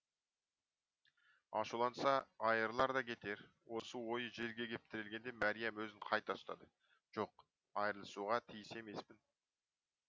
ашуланса айырылар да кетер осы ойы жерге кеп тірелгенде мәриям өзін қайта ұстады жоқ айырылысуға тиіс емеспін